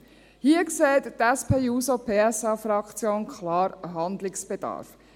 Hier sieht die SP-JUSO-PSA-Fraktion klar einen Handlungsbedarf.